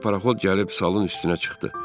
Bir paraxod gəlib salın üstünə çıxdı.